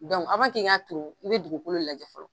n k'a turu i bɛ dugukolo lajɛ fɔlɔ